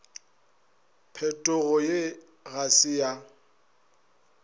phetogo ye ga se ya